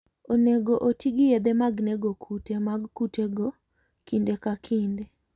Onego oti gi yedhe mag nego kute mag kutego kinde ka kinde.